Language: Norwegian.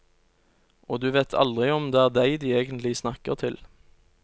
Og du vet aldri om det er deg de egentlig snakker til.